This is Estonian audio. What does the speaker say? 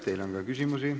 Teile on ka küsimusi.